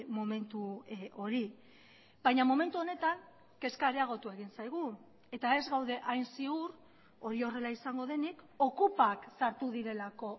momentu hori baina momentu honetan kezka areagotu egin zaigu eta ez gaude hain ziur hori horrela izango denik okupak sartu direlako